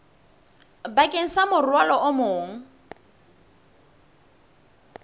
bakeng sa morwalo o mong